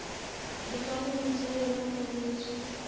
dikarolong tsa yona tsa metso